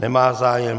Nemá zájem.